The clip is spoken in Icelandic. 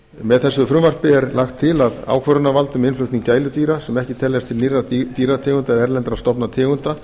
með þessu frumvarpi er lagt til að ákvörðunarvald um innflutning gæludýra sem ekki teljast til nýrra dýrategunda eða erlendra stofna tegunda